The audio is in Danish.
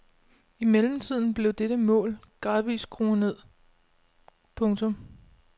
I mellemtiden blev dette mål gradvist skruet ned. punktum